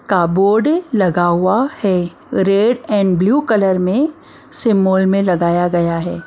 का बोर्ड लगा हुआ है रेड एंड ब्लू कलर में सिम्बोल में लगाया गया है।